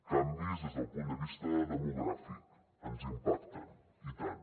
canvis des del punt de vista demogràfic ens impacten i tant